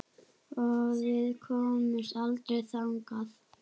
Og við komumst aldrei þangað.